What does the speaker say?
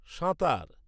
সাঁতার